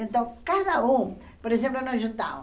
Então, cada um, por exemplo, nos juntava.